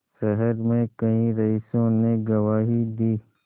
शहर में कई रईसों ने गवाही दी